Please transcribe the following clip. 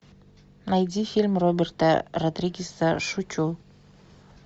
найди фильм роберта родригеса шучу